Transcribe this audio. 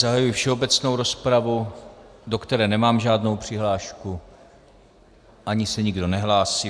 Zahajuji všeobecnou rozpravu, do které nemám žádnou přihlášku, ani se nikdo nehlásí.